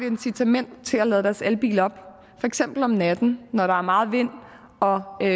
incitament til at lade deres elbil op for eksempel om natten når der er meget vind og